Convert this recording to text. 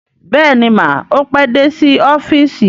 Bẹ́ẹ̀ni mà, ó pé dé sí ọ́fíìsì